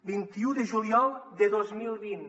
vint un de juliol de dos mil vint